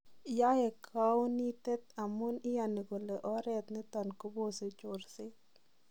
YAae kounitet amun iyani kole oret niton kobose chorset